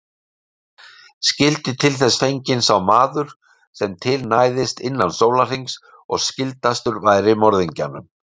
Skyldi til þess fenginn sá maður sem til næðist innan sólarhrings og skyldastur væri morðingjanum.